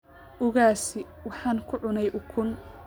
Ugaasi waxaan ku cunay ukun